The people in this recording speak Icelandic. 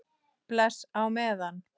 Bless á meðan.